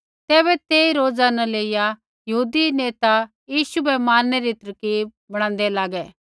तैबै तेई रोजा न लेइया यहूदी नेता यीशु बै मारणै री तरकीब बणान्दे लागै